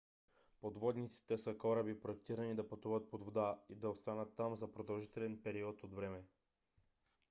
подводниците са кораби проектирани да пътуват под вода и да останат там за продължителен период от време